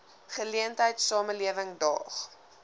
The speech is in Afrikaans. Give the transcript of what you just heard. geleentheid samelewing daag